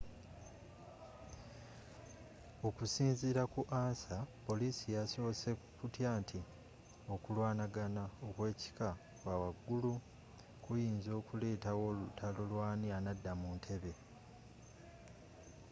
okusinziira ku ansa poliisi yasoose kutya nti okulwanaga okw'ekika kya waggulu kuyinza okuletawo olutalo lw'ani anadda mu ntebe